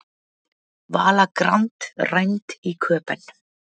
Vala Grand rænd í Köben